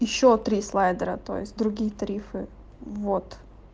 ещё три слайдера то есть другие тарифы вот